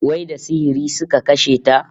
Wai da sihiri suka kashe ta?